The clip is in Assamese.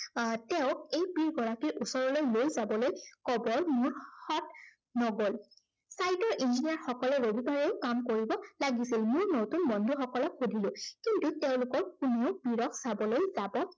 আহ তেওঁক এই পীড়গৰাকীৰ ওচৰলৈ লৈ যাবলৈ মোৰ সৎ নগল। sight ৰ engineer সকলে ৰবিবাৰেও কাম কৰিব লাগিছিল। মোৰ নতুন বন্ধুসকলক সুধিলো, কিন্তু তেওঁলোকৰ পীড়ক চাবলৈ যাব